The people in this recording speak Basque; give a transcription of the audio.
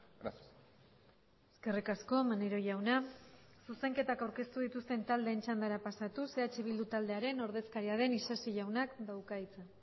gracias eskerrik asko maneiro jauna zuzenketak aurkeztu dituzten taldeen txandara pasatuz eh bildu taldearen ordezkaria den isasi jaunak dauka hitza